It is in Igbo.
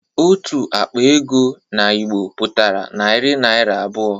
Otu akpa ego n'Igbo pụtara naira narị abụọ